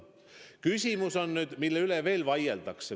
Küsimus on, mille üle veel vaieldakse.